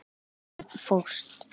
Einn fórst.